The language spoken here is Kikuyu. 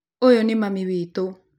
Ũyũ nĩ mami witũ